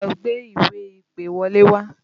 Lọ gbé ìwé-ìpèwọlé wá!